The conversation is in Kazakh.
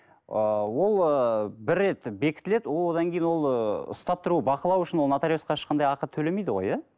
ыыы ол ы бір рет бекітіледі ол одан кейін ол ы ұстап тұру бақылау үшін ол нотариусқа ешқандай ақы төлемейді ғой иә